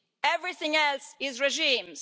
Everything else is regimes.